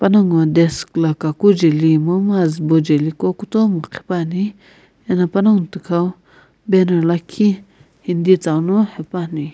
panongu wu desk la kaku jeli momu azubo jeli qo kutomo qhipuani eno panongu thikau banner lakhi hindi tsau no hepuani.